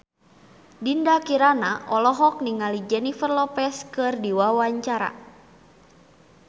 Dinda Kirana olohok ningali Jennifer Lopez keur diwawancara